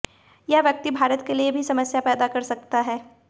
यह व्यक्ति भारत के लिए भी समस्या पैदा कर सकता है